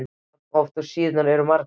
jafn oft og síðurnar eru margar.